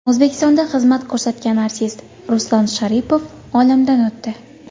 O‘zbekistonda xizmat ko‘rsatgan artist Ruslan Sharipov olamdan o‘tdi.